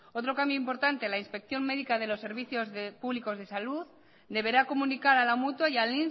otro cambio importante en la inspección médica de los servicios públicos de salud deberá comunicar a la mutua y al